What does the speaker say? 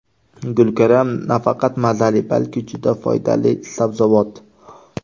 Gulkaram nafaqat mazali, balki juda foydali sabzavot.